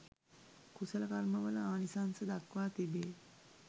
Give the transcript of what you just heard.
කුසල කර්මවල ආනිසංස දක්වා තිබේ.